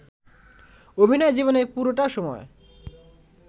অভিনয় জীবনের পুরোটা সময়